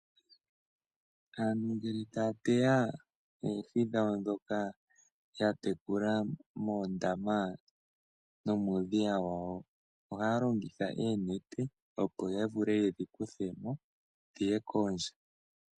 Aantu ngele ta ya teya oohi dhawo dhoka ya tekula moondama nomuudhiya wawo, ohaya longitha oonete opo ya vule yedhi kuthe mo dhiye kondje.